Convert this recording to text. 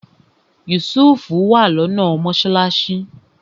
Yusuf wà lọ́nà mọ́sálásí